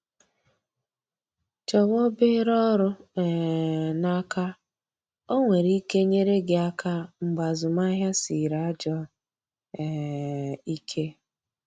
Chọwa obere ọrụ um n’aka, o nwere ike nyere gị aka mgbe azụmahịa sịrị ajọ um ike